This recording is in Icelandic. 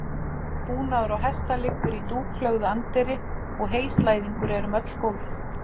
Búnaður á hesta liggur í dúklögðu anddyri og heyslæðingur er um öll gólf.